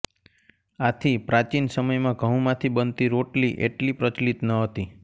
આથી પ્રાચીન સમયમાં ઘઉંમાંથી બનતી રોટલી એટલી પ્રચલીત ન હતી